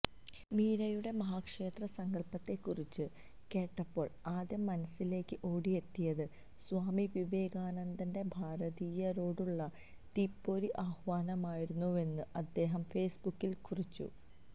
മീരയുടെ മഹാക്ഷേത്ര സങ്കല്പത്തെക്കുറിച്ച് കേട്ടപ്പോള് ആദ്യം മനസ്സിലേക്ക് ഓടിയെത്തിയത് സ്വാമി വിവേകാനന്ദന്റെ ഭാരതീയരോടുള്ള തീപ്പൊരി ആഹ്വാനമായിരുന്നുവെന്ന് അദ്ദേഹം ഫേസ്ബുക്കില് കുറിച്ചു